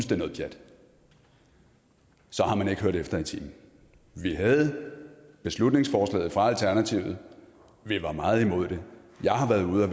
det er noget pjat så har man ikke hørt efter i timen vi havde beslutningsforslaget fra alternativet og vi var meget imod det jeg har været ude og